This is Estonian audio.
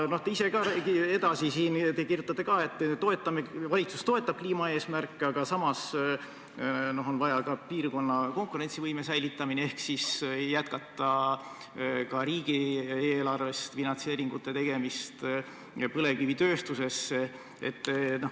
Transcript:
Te ise siin kirjutate, et valitsus küll toetab kliimaeesmärke, aga samas on vaja ka piirkonna konkurentsivõimet säilitada ehk siis jätkata riigieelarvest finantseeringuid põlevkivitööstusesse.